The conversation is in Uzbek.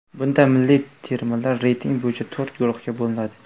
Bunda milliy termalar reyting bo‘yicha to‘rt guruhga bo‘linadi.